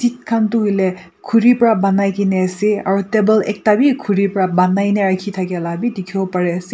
khan tu hoile khuri para banai kena ase aro table ekta bi khuri para banai na rakhi thaka la bi dikhibo pari ase.